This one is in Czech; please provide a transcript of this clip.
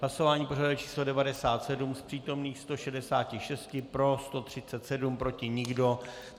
Hlasování pořadové číslo 97, z přítomných 166 pro 137, proti nikdo.